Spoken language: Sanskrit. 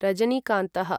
रजनीकान्तः